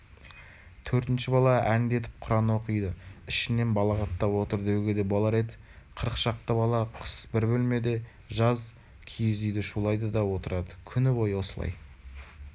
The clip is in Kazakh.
төртінші бала әндетіп құран оқиды ішінен балағаттап отыр деуге де болар еді қырық шақты бала қыс бір бөлмеде жаз киіз үйде шулайды да отырады күні бойы осылай